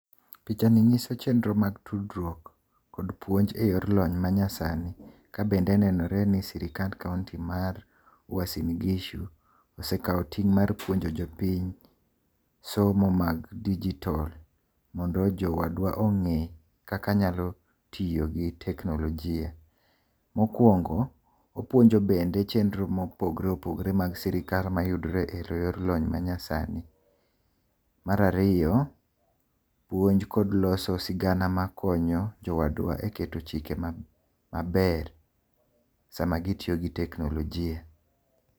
Pichani nyiso chenro mag tudruok kod puonj eyor lony manyasani ka bende nenore ni sirkand kaunti mar Uasin Gishu osekao ting mar puonjo jopiny somo mag digital mondo jowadwa onge kaka nyalo tiyo gi teknolojia. Mokuongo opuonio bende chenro mopogore opogore mag sirkal mayudre e yor lony manyasani Mar ariyo puonj kod loso sigana makonyo jowada e keto chike maber sama gitiyo gi teknolojia